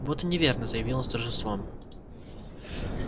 вот и неверно заявил он с торжеством